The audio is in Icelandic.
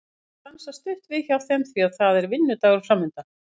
Hún ætlar að stansa stutt við hjá þeim því að það er vinnudagur framundan.